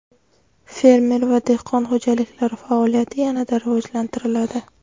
Fermer va dehqon xo‘jaliklari faoliyati yanada rivojlantiriladi.